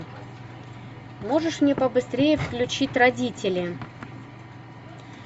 можешь мне побыстрее включить родители